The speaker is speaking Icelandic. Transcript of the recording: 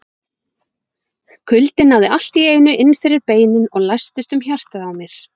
Kuldinn náði allt í einu inn fyrir beinin og læstist um hjartað á mér.